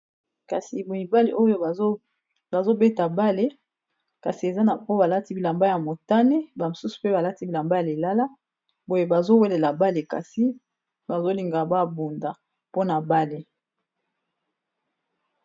Kasi, mibale oyo bazobeta bale ! kasi eza na po balati bilamba ya motane bamosusu, mpe balati bilamba ya lilala boye bazowelela bale, kasi bazolinga babunda mpona bale .